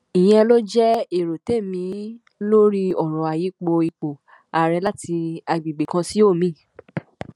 ìyẹn ló jẹ èrò tèmi lórí ọrọ ayípo ipò ààrẹ láti agbègbè kan sí omiín